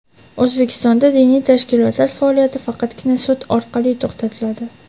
O‘zbekistonda diniy tashkilotlar faoliyati faqatgina sud orqali to‘xtatiladi.